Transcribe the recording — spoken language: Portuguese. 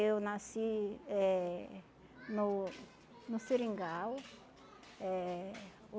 Eu nasci eh no no Seringal. Eh